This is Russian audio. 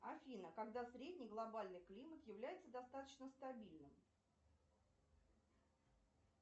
афина когда средний глобальный климат является достаточно стабильным